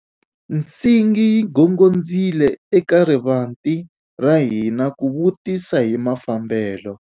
Nsingi yi gongondzile eka rivanti ra hina ku vutisa hi mafambelo.